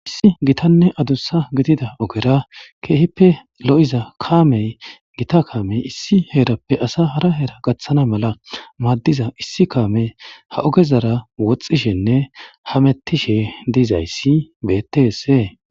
Issi gitanne adussa gidida ogera keehippe lo,iza kaamey gita kaamey issi heerappe asa hara heera gaththana mala maaddiza issi kaame ha ogezara woxxishenne hamettishe diizayssi beettesee.